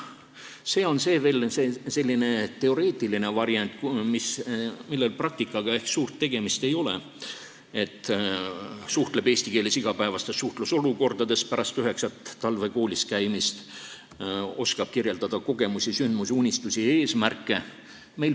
See on selline teoreetiline variant, millel praktikaga ehk suurt tegemist ei ole: suhtleb eesti keeles igapäevastes suhtlusolukordades, pärast üheksat talve koolis käimist oskab kirjeldada kogemusi, sündmusi, unistusi ja eesmärke.